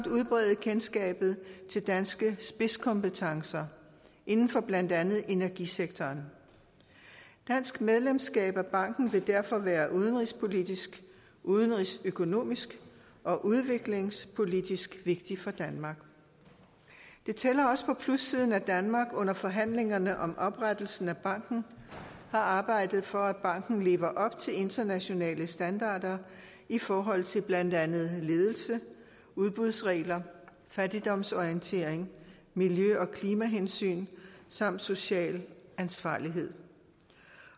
at udbrede kendskabet til danske spidskompetencer inden for blandt andet energisektoren dansk medlemskab af banken vil derfor være udenrigspolitisk udenrigsøkonomisk og udviklingspolitisk vigtigt for danmark det tæller også på plussiden at danmark under forhandlingerne om oprettelsen af banken har arbejdet for at banken lever op til internationale standarder i forhold til blandt andet ledelse udbudsregler fattigdomsorientering miljø og klimahensyn samt social ansvarlighed